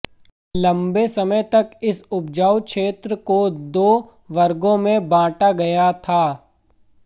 लंबे समय तक इस उपजाऊ क्षेत्र को दो वर्गों में बांटा गया था